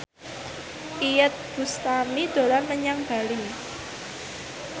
Iyeth Bustami dolan menyang Bali